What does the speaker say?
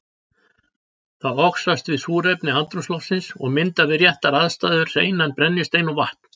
Það oxast við súrefni andrúmsloftsins og myndar við réttar aðstæður hreinan brennistein og vatn.